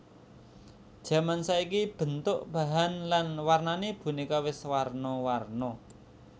Jaman saiki bentuk bahan lan warnané bonéka wis warna warna